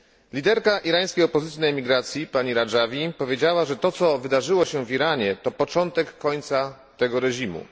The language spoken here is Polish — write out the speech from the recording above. Liderka irańskiej opozycji na emigracji pani Radżawi powiedziała, że to, co wydarzyło się w Iranie, to początek końca tego reżimu.